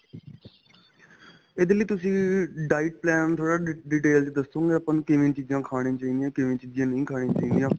ਇਹਦੇ ਲਈ ਤੁਸੀਂ diet plan ਥੋੜਾ ਜਾਂ detail ਵਿੱਚ ਦੱਸੋਗੇ ਵੀ ਆਪਾਂ ਨੂੰ ਕਿਵੇਂ ਚੀਜ਼ਾਂ ਖਾਣੀਆਂ ਚਾਹੀਦੀਆਂ ਕਿਵੇਂ ਚੀਜ਼ਾਂ ਨਹੀਂ ਖਾਣੀਆਂ ਚਾਹੀਦੀਆਂ